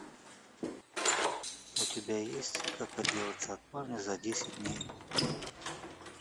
у тебя есть как отделаться от парня за десять дней